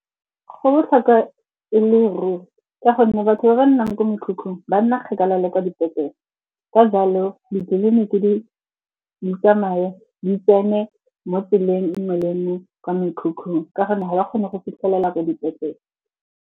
Go botlhokwa e le ruri ka gonne batho ba ba nnang ko mekhukhung, ba nna kgekala le kwa dipetlele. Ka jalo, ditleliniki di tsamaye, di tsene mo tseleng nngwe le nngwe kwa mekhukhung ka gonne ga ba kgone go fitlhelela ko dipetlele.